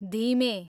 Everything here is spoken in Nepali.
धिमे